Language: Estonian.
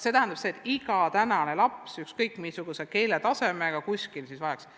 See tähendaks, et iga muukeelne laps, ükskõik missuguse eesti keele tasemega, saaks eritähelepanu.